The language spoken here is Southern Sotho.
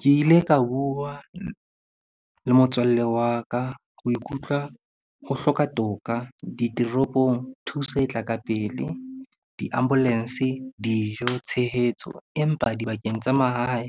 Ke ile ka bua le motswalle wa ka. O ikutlwa ho hloka toka ditoropong, thuso e tla ka pele. Di-ambulance dijo tshehetso empa dibakeng tsa mahae